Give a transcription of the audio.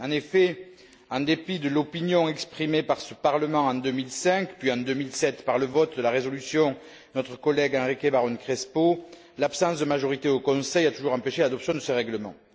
En effet, en dépit de l'opinion exprimée par ce Parlement en 2005 puis en 2007, par le vote de la résolution de notre collègue Enrique Barón Crespo, l'absence de majorité au Conseil a toujours empêché l'adoption de ce règlement.